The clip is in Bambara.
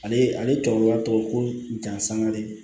Ale ale cɛkɔrɔba tɔgɔ ko dansangalen